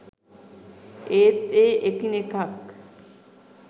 ඒත් ඒ එකිණෙකක්